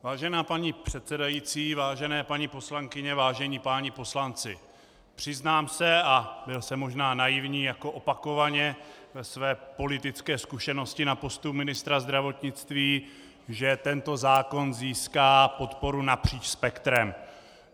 Vážená paní předsedající, vážené paní poslankyně, vážení páni poslanci, přiznám se, a byl jsem možná naivní jako opakovaně ve své politické zkušenosti na postu ministra zdravotnictví, že tento zákon získá podporu napříč spektrem.